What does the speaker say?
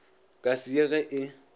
ka se ye ge e